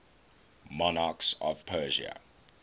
monarchs of persia